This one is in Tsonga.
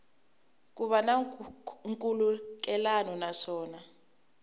ku va na nkhulukelano naswona